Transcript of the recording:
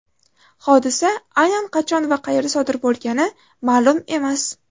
Hodisa aynan qachon va qayerda sodir bo‘lgani ma’lum emas.